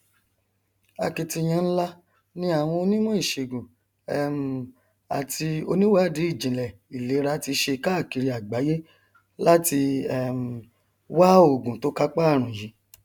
akitiyan nlá ni àwọn onímọ iṣègùn um àti oníwàdìíjinlẹ ilera ti ṣe káàkiri àgbáyé láti um wá ògùn tó kápá àrùn yìí